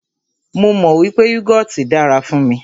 Mó mọ wípé yúgọọ́ti dára fún mí.